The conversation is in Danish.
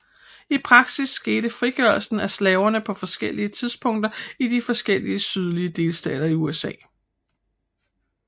I praksis skete frigørelsen af slaverne på forskellige tidspunkter i de forskellige sydlige delstater i USA